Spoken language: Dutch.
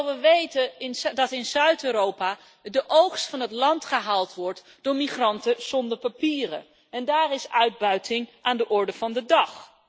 Terwijl we weten dat in Zuid Europa de oogst van het land gehaald wordt door migranten zonder papieren en daar is uitbuiting aan de orde van de dag.